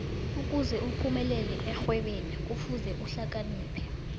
ukuze uphumelele ekghwebeni kufuze uhlakaniphe